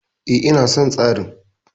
E, ina son tsarin.